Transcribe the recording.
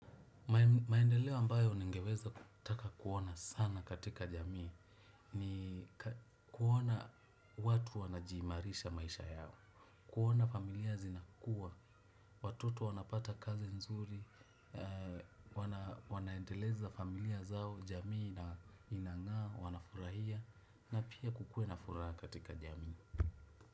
Maendeleo ambayo ningeweza kutaka kuona sana katika jamii ni ka kuona watu wanajiimarisha maisha yao. Kuona familia zinakua, watoto wanapata kazi nzuri, wanaendeleza familia zao, jamii na inang'aa, wanafurahia na pia kukue na furaha katika jamii.